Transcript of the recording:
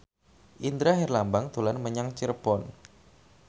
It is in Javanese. Indra Herlambang dolan menyang Cirebon